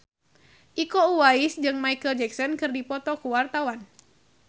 Iko Uwais jeung Micheal Jackson keur dipoto ku wartawan